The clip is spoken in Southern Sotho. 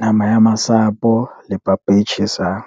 nama ya masapo le papa e tjhesang.